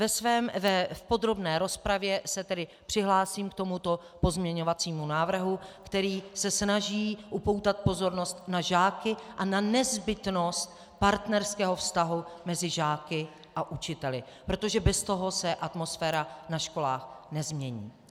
V podrobné rozpravě se tedy přihlásím k tomuto pozměňovacímu návrhu, který se snaží upoutat pozornost na žáky a na nezbytnost partnerského vztahu mezi žáky a učiteli, protože bez toho se atmosféra na školách nezmění.